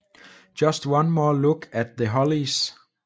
Just One More Look at The Hollies